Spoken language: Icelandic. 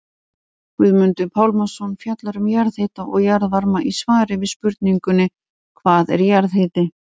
Guðmundur Pálmason fjallar um jarðhita og jarðvarma í svari við spurningunni Hvað er jarðhiti?